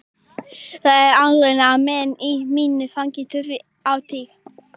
Það er algengt að menn í mínu fagi þurfi á þing.